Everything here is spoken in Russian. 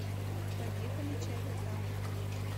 поехали чайнатаун